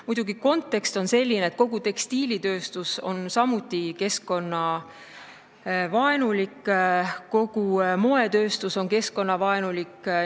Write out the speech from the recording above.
Muidugi, kontekst on selline, et kogu tekstiilitööstus on keskkonnavaenulik, kogu moetööstus on keskkonnavaenulik.